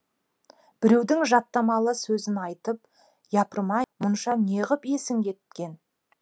біреудің жаттамалы сөзін айтып япырым ай мұнша неғып есің кеткен